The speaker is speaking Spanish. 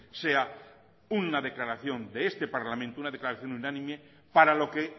sea una declaración de este parlamento una declaración unánime para lo que